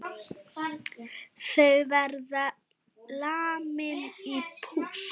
Þau verða lamin í púsl!